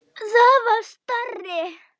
Það var starri!